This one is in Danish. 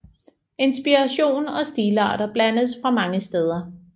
Inspiration og stilarter blandes fra mange steder